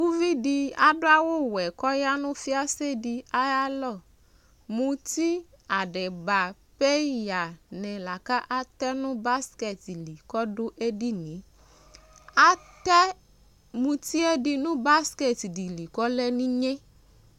Uvi de ado awuwɛ kɔ ya no fiase de ayalɔ Muti, adiba, peya ne la katɛ no basket li la kɔdo edinieAtɛ mutie de no basket de li kɔlɛ ninye